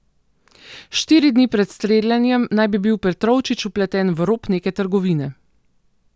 Štiri dni pred streljanjem naj bi bil Petrovčič vpleten v rop neke trgovine.